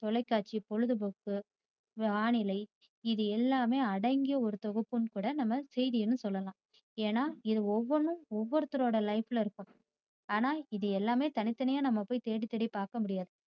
தொலைக்காட்சி பொழுதுபோக்கு வானிலை இது எல்லாமே அடங்கிய ஒரு தொகுப்புனு கூட நம்ம செய்தியை சொல்லலாம். ஏன்னா இது ஒவ்வணும் ஒருத்தரோட life ல இருக்கும். ஆனா இது எல்லாமே தனி தனியா நாம போய் தேடி தேடி பாக்க முடியாது